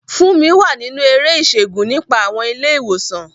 Funmi wà nínú eré ìṣègùn nípa àwọn ilé ìwòsàn.